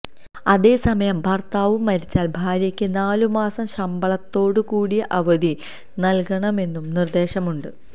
അതേസമയം ഭർത്താവു മരിച്ചാൽ ഭാര്യയ്ക്കു നാലു മാസം ശമ്പളത്തോടുകൂടിയ അവധി നൽകണമെന്നും നിർദേശമുണ്ട്